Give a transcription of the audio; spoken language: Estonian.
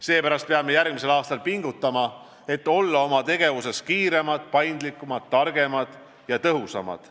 Seepärast peame järgmisel aastal pingutama, et olla oma tegevuses kiiremad, paindlikumad, targemad ja tõhusamad.